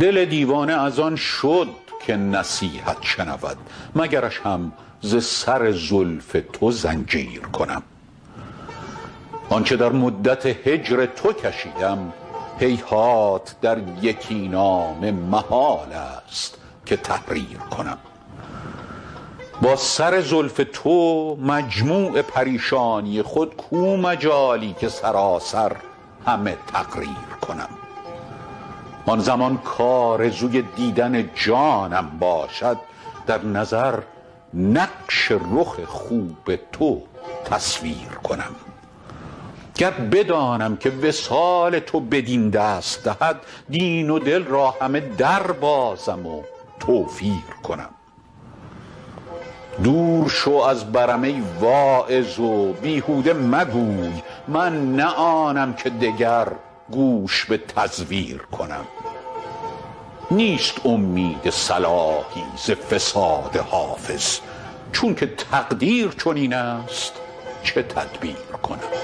دل دیوانه از آن شد که نصیحت شنود مگرش هم ز سر زلف تو زنجیر کنم آن چه در مدت هجر تو کشیدم هیهات در یکی نامه محال است که تحریر کنم با سر زلف تو مجموع پریشانی خود کو مجالی که سراسر همه تقریر کنم آن زمان کآرزوی دیدن جانم باشد در نظر نقش رخ خوب تو تصویر کنم گر بدانم که وصال تو بدین دست دهد دین و دل را همه دربازم و توفیر کنم دور شو از برم ای واعظ و بیهوده مگوی من نه آنم که دگر گوش به تزویر کنم نیست امید صلاحی ز فساد حافظ چون که تقدیر چنین است چه تدبیر کنم